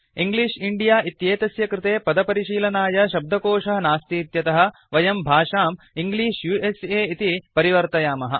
English India इत्येतस्य कृते पदपरिशीलनाय शब्दकोशः नास्तीत्यतः वयं भाषां इंग्लिश उस इति परिवर्तयामः